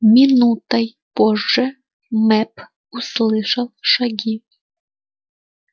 минутой позже мэп услышал шаги